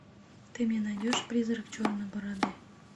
ты мне найдешь призрак черной бороды